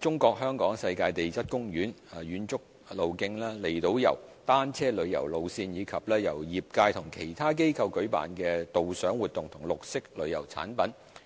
中國香港世界地質公園、遠足路徑、離島遊、單車旅遊路線，以及由業界或其他機構舉辦的導賞活動及綠色旅遊產品。